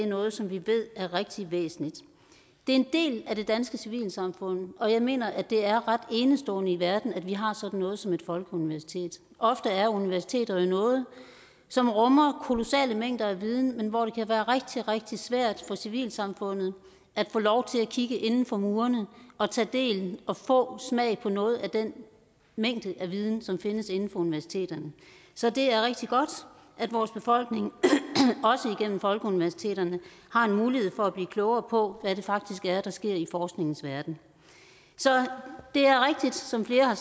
noget som vi ved er rigtig væsentligt det er en del af det danske civilsamfund og jeg mener at det er ret enestående i verden at vi har sådan noget som et folkeuniversitet ofte er universiteter jo noget som rummer kolossale mængder af viden men hvor det kan være rigtig rigtig svært for civilsamfundet at få lov til at kigge inden for murene og tage del i og få smag for noget af den mængde af viden som findes inden for universiteterne så det er rigtig godt at vores befolkning også igennem folkeuniversitetet har en mulighed for at blive klogere på hvad det faktisk er der sker i forskningens verden så det er rigtigt som flere har